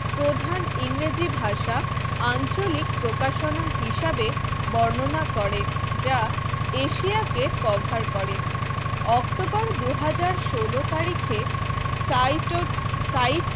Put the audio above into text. প্রধান ইংরেজি ভাষা আঞ্চিলিক প্রকাশণা হিসেবে বর্ণনা করে যা এশিয়াকে কভার করে অক্টোবর দুই হাজার ষোলো তারিখে